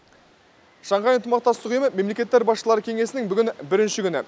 шанхай ынтымақтастық ұйымы мемлекеттер басшылары кеңесінің бүгін бірінші күні